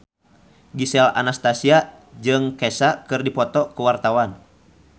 Gisel Anastasia jeung Kesha keur dipoto ku wartawan